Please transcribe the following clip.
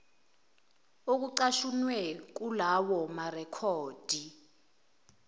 okucashunwe kulawo marekhodi